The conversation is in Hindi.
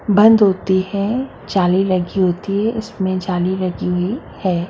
बंध होती हैजाली लगी होती है उसमे जाली लगी हुई है।